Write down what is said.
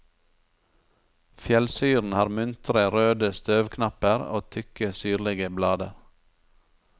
Fjellsyren har muntre, røde støvknapper og tykke syrlige blader.